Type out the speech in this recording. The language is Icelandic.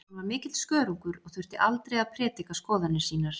Hann var mikill skörungur og þurfti aldrei að prédika skoðanir sínar.